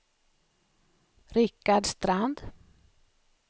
Rikard Strand